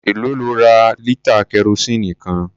Èlòó lo ra lítà kẹrosíìnì kan?